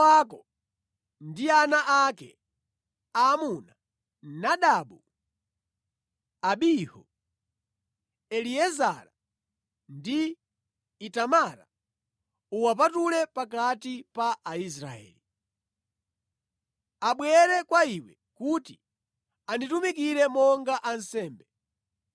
“Aaroni mʼbale wako ndi ana ake aamuna, Nadabu, Abihu, Eliezara ndi Itamara uwapatule pakati pa Aisraeli. Abwere kwa iwe kuti anditumikire monga ansembe.